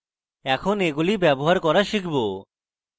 আমরা এখন এগুলি ব্যবহার করা শিখব